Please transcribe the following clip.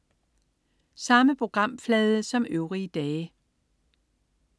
Samme programflade som øvrige dage